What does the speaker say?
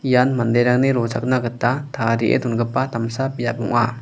ian manderangni rochakna gita tarie dongipa damsa biap ong·a.